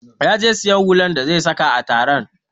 Ya je siyan hular da zai saka a taron